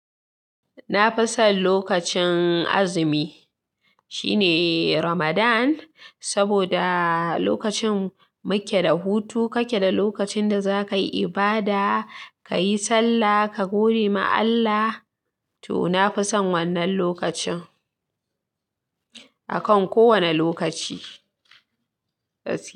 Na fi son lokacin azumi shine Ramadan, saboda lokacin mu ke da hutu kake da lokacin da zaka yi ibada, kayi sallah, ka godi ma Allah. To na fi son wannan lokacin akan kowane lokaci.